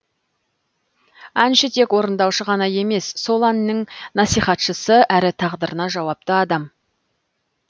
әнші тек орындаушы ғана емес сол әннің насихатшысы әрі тағдырына жауапты адам